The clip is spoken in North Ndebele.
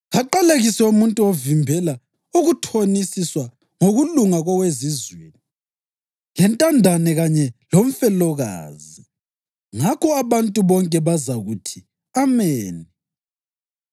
‘Kaqalekiswe umuntu ovimbela ukuthonisiswa ngokulunga kowezizweni, lentandane kanye lomfelokazi.’ Ngakho abantu bonke bazakuthi, ‘Ameni!’